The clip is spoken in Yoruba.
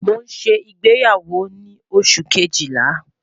Mo n ṣe igbeyawo ni Oṣu kejila